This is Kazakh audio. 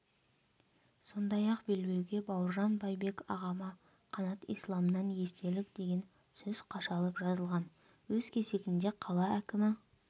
сондай-ақ белбеуге бауыржан байбек ағама қанат исламнан естелік деген сөз қашалып жазылған өз кезегінде қала кімі